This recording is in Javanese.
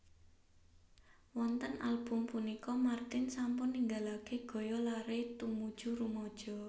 Wonten album punika martin sampun ninggalaken gaya lare tumuju rumaja